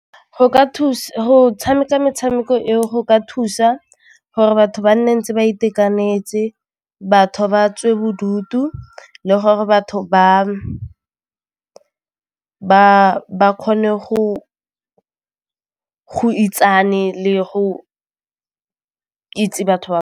Go ka go tshameka metshameko e go ka thusa gore batho ba nne ntse ba itekanetse, batho ba tswe bodutu le gore batho ba kgone go itsane le go itse batho .